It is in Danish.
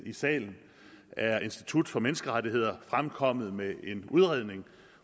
i salen er institut for menneskerettigheder fremkommet med en udredning